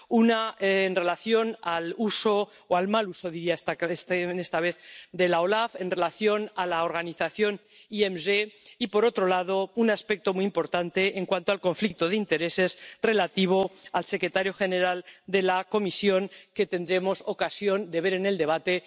Una, la actuación —o la mala actuación esta vez— de la OLAF en relación con la organización IMG y, por otro lado, un aspecto muy importante en cuanto al conflicto de intereses relativo al secretario general de la Comisión, que tendremos ocasión de ver en el debate.